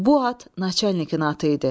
Bu at naçalnikin atı idi.